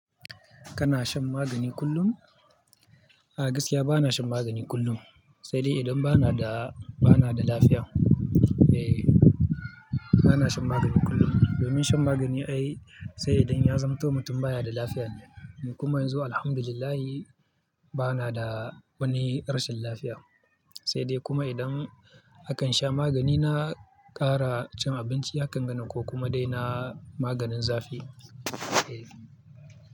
Kana shan magani kullum? A gaskiya bana shan magani kullum, sai dai idan bana da, bana da lafiya. Eh, bana shan magani kullum. Domin shan magani ai sai idan ya zamto mutum baya da lafiya ne. Ni kuma yanzu Alhamdulillah bana da wani rashin lafiya. Sai dai kuma idan nakan sha magani na ƙara cin abinci hakan ganan ko kuma dai na maganin zafi. Eh.